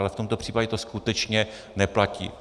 Ale v tomto případě to skutečně neplatí.